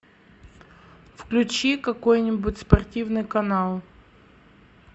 включи какой нибудь спортивный канал